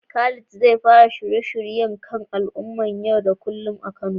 Khalid zai fara shirye-shiryen h kan al'amuran yau da kullum a Kano.